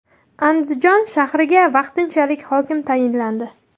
Andijon shahriga vaqtinchalik hokim tayinlandi.